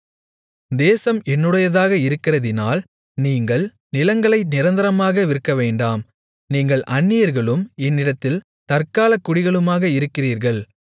தேசம் என்னுடையதாக இருக்கிறதினால் நீங்கள் நிலங்களை நிரந்தரமாக விற்கவேண்டாம் நீங்கள் அந்நியர்களும் என்னிடத்தில் தற்காலக்குடிகளுமாக இருக்கிறீர்கள்